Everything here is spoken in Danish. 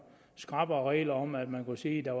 skrappere regler om at man kunne sige at der